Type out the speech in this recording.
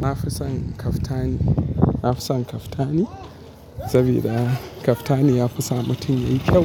Na fi son kaftani, na fi son kaftani sabida kaftani ya fi sa mutum yayi kyau,